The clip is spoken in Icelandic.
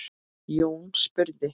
Jón spurði